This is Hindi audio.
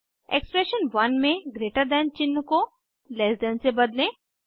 एक्सप्रेशन 1 में ग्रेटर दैन चिन्ह को लैस दैन से बदलें